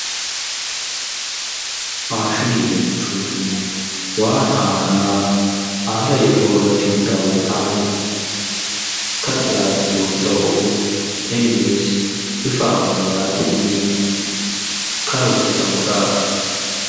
Faashinii jechuun waan haaraa haala yeroo irratti hundaa'uun kan dhiyaatu yoo ta'u; innis bifa ammayyaatiin kan hojjetamuudha.